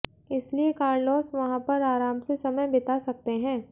इसलिए कार्लोस वहां पर आराम से समय बिता सकते हैं